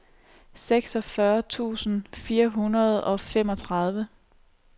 seksogfyrre tusind fire hundrede og femogtredive